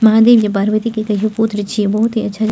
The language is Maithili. महादेव के पार्वती के कहियो पुत्र छीये बहुत ही अच्छा।